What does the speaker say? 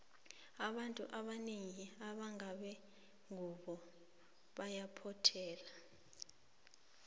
abantu abanengi abangabe ngube ngubo bayaphothela